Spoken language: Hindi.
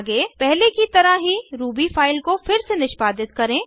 आगे पहले की तरह ही रूबी फाइल को फिर से निष्पादित करें